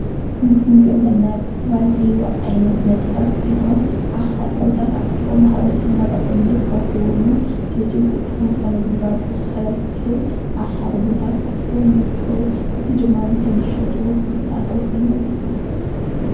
እዚ ምስሊ ንሪኦም ዘለና ዝተፈላለዩ ዓይነት መስተታት ኮይኖም ኣብ ሓደ ቦታ ተኣኪቦም ማሕበረሰብና ብቀሊሉ ክረክቦምን ስልጡን ቅልጥፉን ንክረክብ ኣብ ሓደ ቦታ ተኣኪቦም ይርከቡ እዚ ድማ ንቶም ዝሸጡ ፍልፍል ኣታዊ ኮይኑ የገልግሎም::